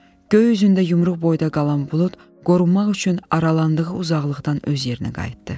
Göy üzündə yumruq boyda qalan bulud qorunmaq üçün aralandığı uzaqlıqdan öz yerinə qayıtdı.